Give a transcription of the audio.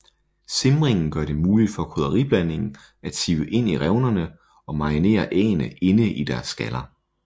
Simringen gør det muligt for krydderiblandingen at sive ind i revnerne og marinere æggene inde i deres skaller